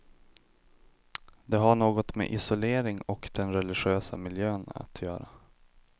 Det har något med isoleringen och den religiösa miljön att göra.